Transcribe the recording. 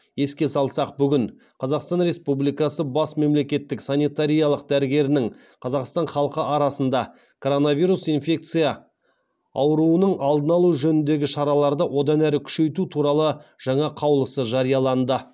еске салсақ бүгін қазақстан республикасы бас мемлекеттік санитариялық дәрігерінің қазақстан халқы арасында коронавирус инфекция ауруының алдын алу жөніндегі шараларды одан әрі күшейту туралы жаңа қаулысы жарияланды